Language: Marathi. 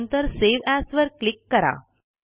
नंतर सावे एएस वर क्लिक करा